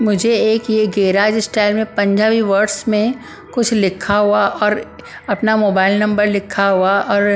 मुझे एक ये गैराज स्टाइल में पंजाबी वर्ड्स में कुछ लिखा हुआ और अपना मोबाइल नंबर लिखा हुआ और --